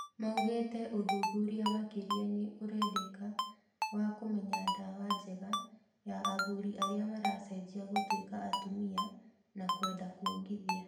Maugĩte ũthuthuria makĩria nĩ urendeka wa kũmenya ndawa njega ya athuri arĩa marecenjia gũtwĩka atumia na kwenda kwongithia.